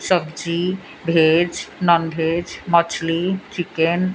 सब्जी veg non veg मछली chicken --